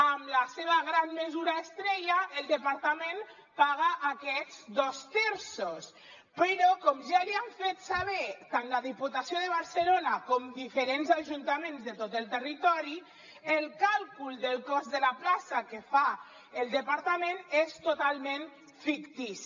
amb la seva gran mesura estrella el departament paga aquests dos terços però com ja li han fet saber tant la diputació de barcelona com diferents ajuntaments de tot el territori el càlcul del cost de la plaça que fa el departament és totalment fictici